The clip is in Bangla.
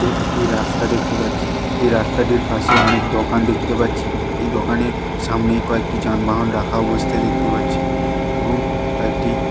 এ একটি রাস্তা দেখতে পাচ্ছি। যে রাস্তাটির পাশে অনেক দোকান দেখতে পাচ্ছি। এই দোকানের সামনেই কয়েকটি যানবাহন রাখা অবস্থায় দেখতে পাচ্ছি এবং কয়েকটি--